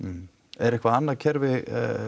er eitthvað annað kerfi